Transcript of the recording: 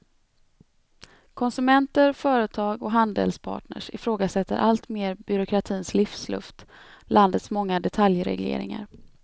Konsumenter, företag och handelspartners ifrågasätter allt mer byråkratins livsluft, landets många detaljregleringar.